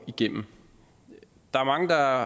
igennem der er mange der